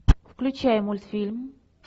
включай мультфильм